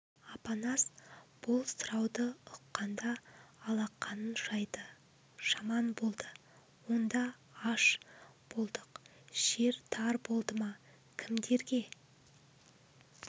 апанас бұл сұрауды ұққанда алақанын жайды жаман болды онда аш болдық жер тар болды ма кімдерге